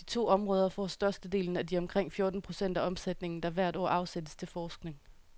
De to områder får størstedelen af de omkring fjorten procent af omsætningen, der hvert år afsættes til forskning.